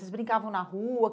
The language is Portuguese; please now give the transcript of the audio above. Vocês brincavam na rua?